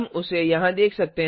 हम उसे यहाँ देख सकते हैं